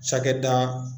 Cakɛda